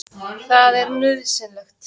Það er nauðsynlegt.